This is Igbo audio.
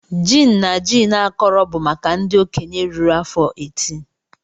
Gin na gin akọrọ bụ maka ndị okenye ruru afọ 18.